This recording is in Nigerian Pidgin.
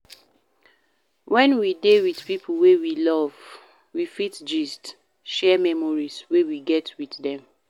When we dey with pipo wey we love we fit gist, share memories wey we get with them